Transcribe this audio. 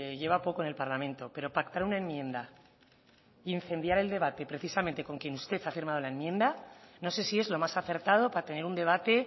lleva poco en el parlamento pero pactar una enmienda e incendiar el debate precisamente con quien usted ha firmado la enmienda no sé si es lo más acertado para tener un debate